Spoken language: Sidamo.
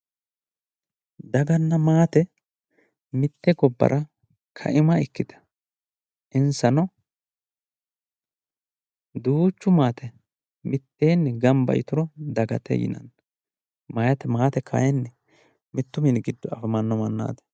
daganna maate mitte gobbara kaima ikkitanna insano duuchu maate maate mitteenni gamba yituro dagate yinanni maate kayiinni mittu mini giddo afamanno mannaati.